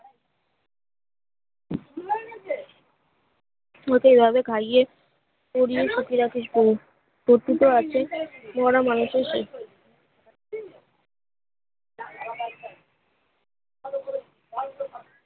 লোকের ভেবে খাইয়ে পড়িয়ে সুখে রাখিস বোন তোর দুটো আছে মরা মানুষের